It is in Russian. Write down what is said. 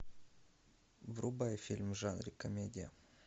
врубай фильм в жанре комедия